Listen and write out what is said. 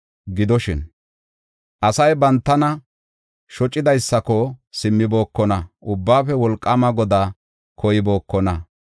Gidoshin, asay bantana shocidaysako simmibokona; Ubbaafe Wolqaama Godaa koybookona.